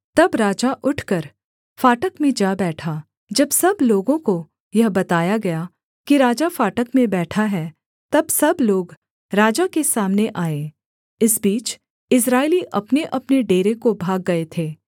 तब राजा उठकर फाटक में जा बैठा जब सब लोगों को यह बताया गया कि राजा फाटक में बैठा है तब सब लोग राजा के सामने आए इस बीच इस्राएली अपनेअपने डेरे को भाग गए थे